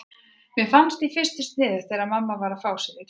Mér fannst í fyrstu sniðugt þegar mamma var að fá sér í glas.